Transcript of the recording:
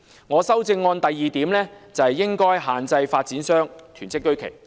我的修正案的第二個重點，是應該限制發展商囤積居奇。